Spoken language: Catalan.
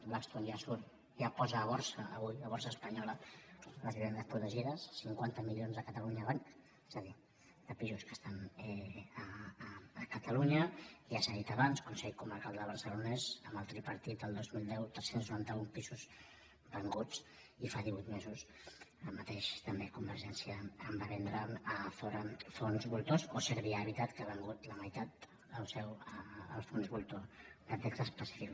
blackstone ja posa a borsa avui a la borsa espanyola les vivendes protegides cinquanta milions de catalunya banc és a dir de pisos que estan a catalunya ja s’ha dit abans consell comarcal del barcelonès amb el tripartit el dos mil deu tres cents i noranta un pisos venuts i fa divuit mesos el mateix també convergència en va vendre a azora fons voltors o servihabitat que ha venut la meitat del seu als fons voltors de texas pacific